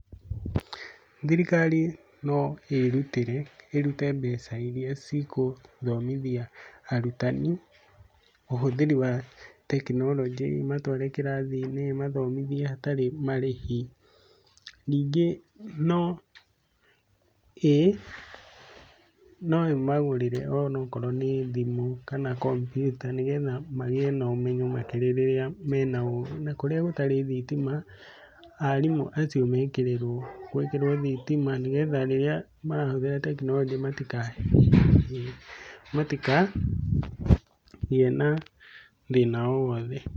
Thirikari no ĩrutĩre, ĩrute mbeca iria cigũthomithia arutani ũhũthĩri wa tekinoronjĩ, ĩmatware kĩrathi-inĩ, ĩmathomithie hatarĩ marĩhi. Ningĩ no ĩ, no ĩmagũrĩre o na korwo nĩ thimũ kana kompyuta nĩ getha magĩe na ũmenyo makĩria rĩrĩa me na o, na kũrĩa gũtarĩ thitima, arimũ acio mekĩrĩrwo, gwĩkĩrwo thitima nĩ getha rĩrĩa marahũthĩra tekinoronjĩ matikagĩe na thĩna o wothe.